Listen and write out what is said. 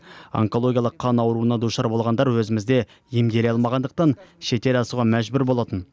онкологиялық қан ауруына душар болғандар өзімізде емделе алмағандықтан шетел асуға мәжбүр болатын